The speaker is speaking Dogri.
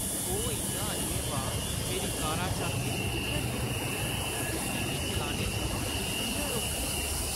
ओह् इ'यां अ'न्नेबाह् मेरी कारा शा अग्गें किʼयां निकली सकदा ऐ ते मिगी चलने थमां किʼयां रोकी सकदा ऐ?